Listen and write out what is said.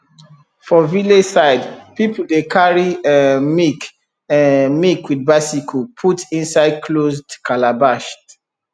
for village side people dey carry um milk um milk with bicycle put inside closed calabash